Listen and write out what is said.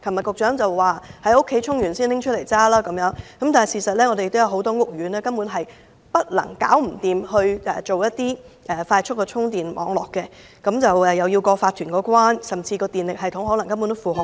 局長昨天建議電動車車主先在屋苑充電後才駕駛，但事實上，很多屋苑根本無法設立快速充電網絡，亦要得到法團同意，甚至電力系統無法負荷。